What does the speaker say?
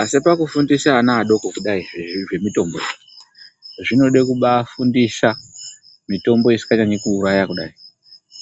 Asi pakufundisa ana adoko kudai zviro izvi zve mitombo, zvinode kubaafundisa mitombo isikanyanyi kuuraya kudai.